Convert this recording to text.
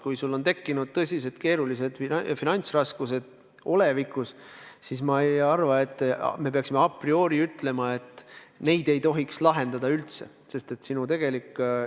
Kui sul on tekkinud tõsised finantsraskused olevikus, siis ma ei arva, et me peaksime a priori ütlema, et neid ei tohiks selle raha abil lahendada.